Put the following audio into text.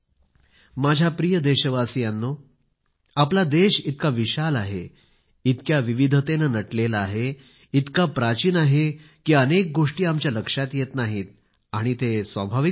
माझ्या प्रिय देशवासियांनो आपला देश इतका विशाल आहे इतक्या विविधतेने नटलेला आहे इतका प्राचीन आहे कि अनेक गोष्टी आमच्या लक्षात येत नाहीत आणि ते स्वाभाविक पण आहे